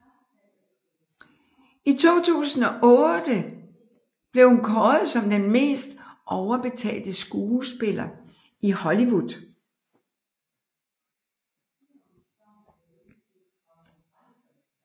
I 2008 blev hun kåret som den mest overbetalte skuespiller i Hollywood